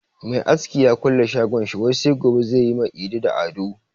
Mai aski ya kulle shagon shi wai sai gobe zai yi ma Idi da Ado.